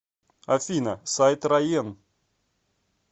афина сайт раен